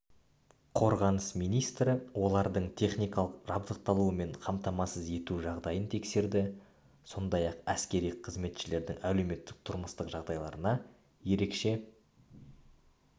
қорғаныс министрі олардың техникалық жабдықталуы мен қамтамасыз ету жағдайын тексерді сондай-ақ әскери қызметшілердің әлеуметтік-тұрмыстық жағдайларына ерекше